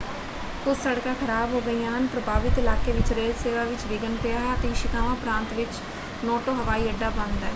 ਕੁਝ ਸੜਕਾਂ ਖ਼ਰਾਬ ਹੋ ਗਈਆਂ ਹਨ ਪ੍ਰਭਾਵਿਤ ਇਲਾਕੇ ਵਿੱਚ ਰੇਲ ਸੇਵਾ ਵਿੱਚ ਵਿਘਨ ਪਿਆ ਹੈ ਅਤੇ ਇਸ਼ੀਕਾਵਾ ਪ੍ਰਾਂਤ ਵਿੱਚ ਨੋਟੋ ਹਵਾਈ ਅੱਡਾ ਬੰਦ ਹੈ।